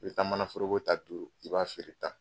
I bɛ taa manaforoko ta duuru i b'a feere tan